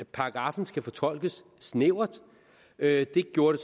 paragraffen skal fortolkes snævert det gjorde